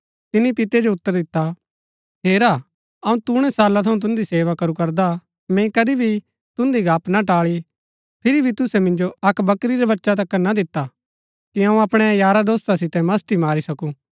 तिनी पितै जो उतर दिता हेरा अऊँ तूणै साला थऊँ तुन्दी सेवा करू करदा हा मैंई कदी भी तुन्दी गप्‍प ना टाळी फिरी भी तुसै मिन्जो अक्क बकरी रा बच्चा तिकर ना दिता कि अऊँ अपणै यारा दोस्‍ता सितै मस्‍ती मारी सकूँ